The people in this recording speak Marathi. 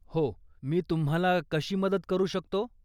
हो, मी तुम्हाला कशी मदत करू शकतो?